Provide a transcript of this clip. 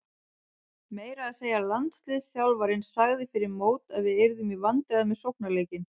Meira að segja landsliðsþjálfarinn sagði fyrir mót að við yrðum í vandræðum með sóknarleikinn.